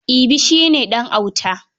Ibi shi ne ɗan auta.